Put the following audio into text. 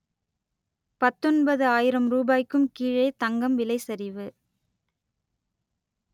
பத்தொன்பது ஆயிரம் ரூபாய்க்கும் கீழே தங்கம் விலை சரிவு